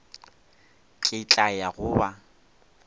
ke tla ya go ba